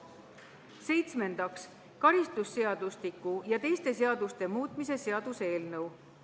Seitsmendaks, karistusseadustiku ja teiste seaduste muutmise seaduse eelnõu.